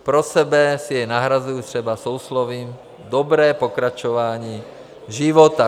Pro sebe si jej nahrazuji třeba souslovím "dobré pokračování života".